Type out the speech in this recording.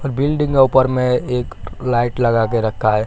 और बिल्डिंग का ऊपर में एक लाइट लगा के रखा है।